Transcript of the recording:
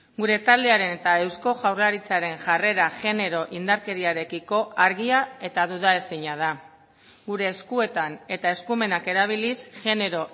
gure taldearen eta eusko jaurlaritzaren jarrera genero indarkeriarekiko argia eta duda ezina da gure eskuetan eta eskumenak erabiliz genero